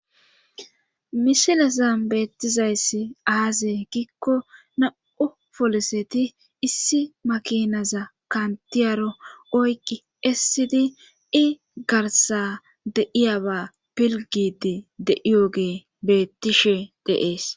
misilasan beettizayssi aaze giikko na7u foloseti issi makinaza kantiyaro oykki essidi i garsa deiyaba pilgidi deiyoge beettishe deees